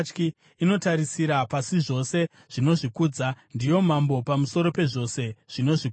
Inotarisira pasi zvose zvinozvikudza; ndiyo mambo pamusoro pezvose zvinozvikudza.”